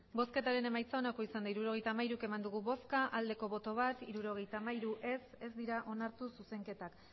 hirurogeita hamairu eman dugu bozka bat bai hirurogeita hamairu ez ez dira onartu zuzenketak